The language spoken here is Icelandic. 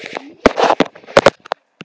Þú hefur ekki verið klappaður upp?